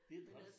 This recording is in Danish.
Det jo træls